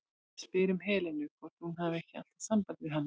Ég spyr um Helenu, hvort hún hafi ekki alltaf samband við hana?